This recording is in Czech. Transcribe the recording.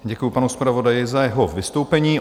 Děkuju panu zpravodaji za jeho vystoupení.